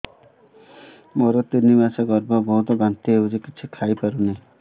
ମୋର ତିନି ମାସ ଗର୍ଭ ବହୁତ ବାନ୍ତି ହେଉଛି କିଛି ଖାଇ ପାରୁନି